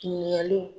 Ɲininkaliw